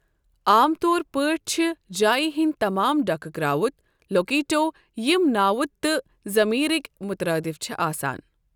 عام طور پٲٹھۍ چھِ جایہِ ہنٛدۍ تمام ڈکھہٕ کرٛاوُت 'لوکیٹو'، یِم ناوُت تہٕ ضمیرٕکۍ مترادف چھِ آسان۔